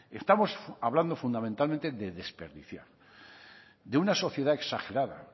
estamos hablando fundamentalmente de desperdiciar de una sociedad exagerada